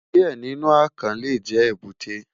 Diẹ ninu akàn le jẹ ebute